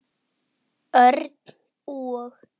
Örn og